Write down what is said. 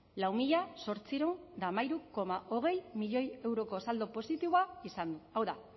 lau mila zortziehun eta hamairu koma hogei milioi euroko saldo positiboa izan du hau da